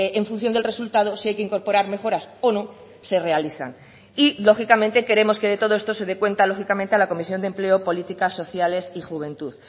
en función del resultado si hay que incorporar mejoras o no se realizan y lógicamente queremos que de todo esto se dé cuenta lógicamente a la comisión de empleo políticas sociales y juventud